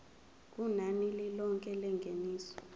kunani lilonke lengeniso